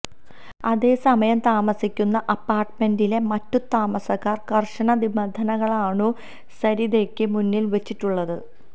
അതേസമയം താമസിക്കുന്ന അപ്പാർട്ട്മെന്റിലെ മറ്റു താമസക്കാർ കർശന നിബന്ധനകളാണു സരിതയ്ക്ക് മുന്നിൽ വച്ചിട്ടുള്ളത്